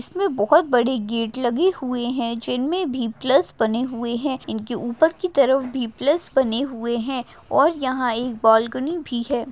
इसमे बहुत बडे गेट लगे हुए हैं जिनमें भी प्लस बने हुए हैं इनकी ऊपर की तरफ भी प्लस बने हुए हैं और यहां एक बालकनी भी है।